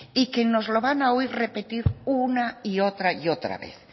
y que nos lo van a oír repetir una y otra y otra vez